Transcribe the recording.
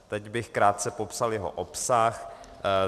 Teď bych krátce popsal jeho obsah.